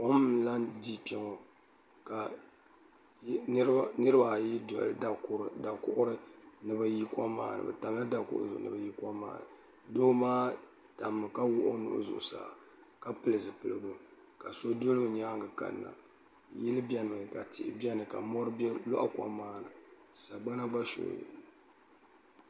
kom n lahi di kpɛ ŋɔ ka niraba ayi doli dakuɣuri ni bi yi kom maa ni doo maa tammi ka wuhi o nuhi zuɣusaa ka pili zipiligu ka so doli o nyaangi kanna yili biɛni mi ka tihi biɛni ka mɔri loɣi kom maa ni sagbana gba shooyira